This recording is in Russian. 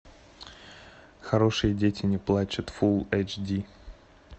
хорошие дети не плачут фулл эйч ди